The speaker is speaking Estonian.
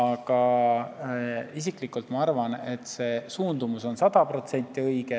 Ma ise arvan, et see suundumus on sada protsenti õige.